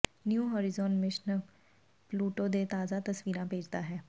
new Horizon mission Pluto ਦੇ ਤਾਜ਼ਾ ਤਸਵੀਰਾਂ ਭੇਜਦਾ ਹੈ